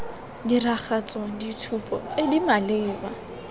diragatsa ditshupo tse di maleba